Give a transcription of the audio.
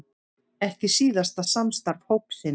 Ekki síðasta samstarf hópsins